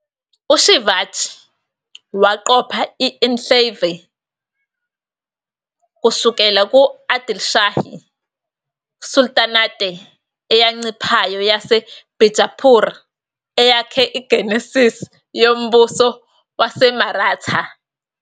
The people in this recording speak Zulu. U-Shivaji waqopha i-enclave kusukela ku-Adilshahi sultanate eyanciphayo yase-Bijapur eyakha i-genesis yoMbuso WaseMaratha.